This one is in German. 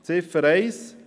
Ziffer 1: